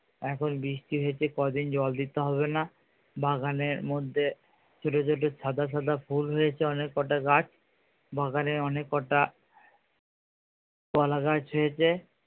এখন বৃষ্টি হয়েছে কদিন জল দিতে হবে না বাগানের মধ্যে ছোটো ছোটো সাদা সাদা ফুল হয়েছে অনেক কটা গাছ বাগানে অনেক কটা কলা গাছ হয়েছে।